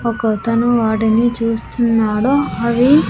ఒకతను వాటిని చూస్తున్నాడు అవి.